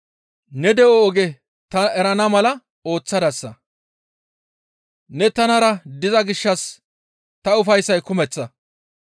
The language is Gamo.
Ne de7o oge ta erana mala ooththadasa. Ne tanara diza gishshas ta ufayssay kumeththa.›